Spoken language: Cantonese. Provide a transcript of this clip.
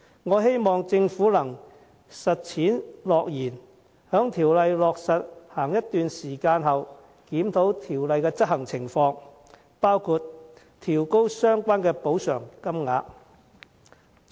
我希望政府能履行承諾，在建議落實一段時間後，檢討《僱傭條例》的執行情況，包括調高相關的補償金額。